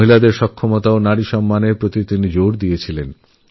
নারীরআত্মসম্মান ও সশক্তিকরণের ওপর জোর দিয়েছেন